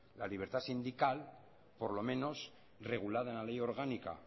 la libertad sindical por lo menos regulada en la ley orgánica